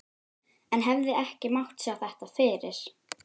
En hefði ekki mátt sjá þetta fyrir?